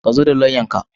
Ku zo da lauyanka.